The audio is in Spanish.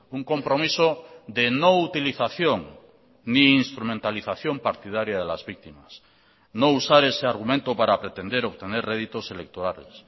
un compromiso de no utilización ni instrumentalización partidaria de las víctimas no usar ese argumento para pretender obtener réditos electorales